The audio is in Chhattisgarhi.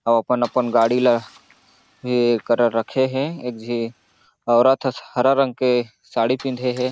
अपन-अपन गाड़ी ला एकरा रखे हे एक झी औरत ह हरा रंग के साड़ी पिँधे हे।